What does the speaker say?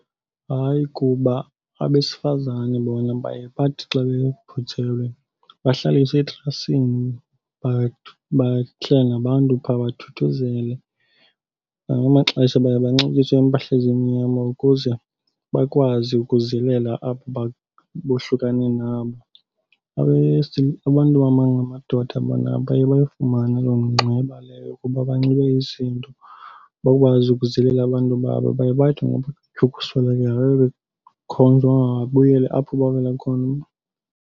Hayi, kuba abesifazane bona baye bathi xa bebhujelwe bahlaliswe etrasini, bahlala nabantu phaa bathuthuzele. Ngamanye amaxesha baye banxibiswe iimpahla ezimnyama ukuze bakwazi ukuzilela abo bohlukane nabo. Abantu abangamadoda bona abaye bayifumane loo ngxeba leyo ukuba banxibe izinto, bakwazi ukuzilela abantu babo. Abaye bathi ngoba ukuswelekelwa babe bekhonjwa uba mababuyele apho bavela khona.